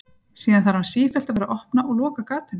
Síðan þarf hann sífellt að vera að opna og loka gatinu.